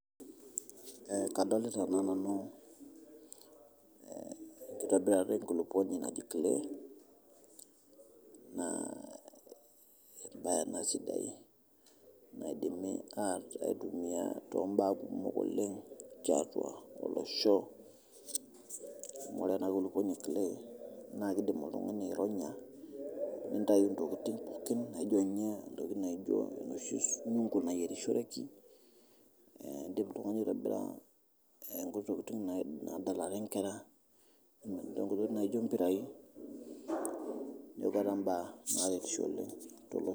Kadolita naa nanu nkitobirata enkuluponi najo clay naa embae ana sidai naidimi aitumia tombaa kumok oleng teatua olosho, ore ana kuluponi e clay naa keidim oltungani aironya nintayu ntokitin naaa ijo ninye ntokitin naa ijo kuna oshi nayerishoreki, indim ltungani aitobira nkuti tokitin nadalare nkera ntokitin naa ijo mpirai ombaa naretisho oleng te losho